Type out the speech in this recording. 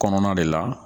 Kɔnɔna de la